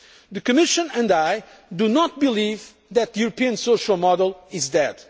cohesion. The Commission and I do not believe that the European social model